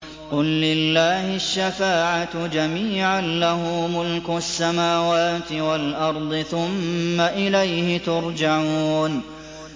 قُل لِّلَّهِ الشَّفَاعَةُ جَمِيعًا ۖ لَّهُ مُلْكُ السَّمَاوَاتِ وَالْأَرْضِ ۖ ثُمَّ إِلَيْهِ تُرْجَعُونَ